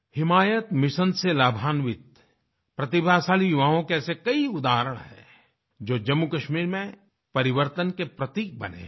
हिमायत mission से लाभान्वित प्रतिभाशाली युवाओं के ऐसे कई उदाहरण हैं जो जम्मूकश्मीर में परिवर्तन के प्रतीक बने हैं